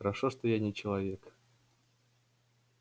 хорошо что я не человек